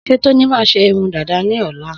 Sé Tóní má ṣe irun dàdá ní ọ̀la